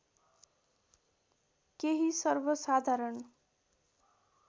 केही सर्वसाधारण